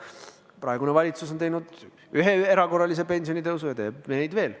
Praegune valitsus on teinud ühe erakorralise pensionitõusu ja teeb neid veel.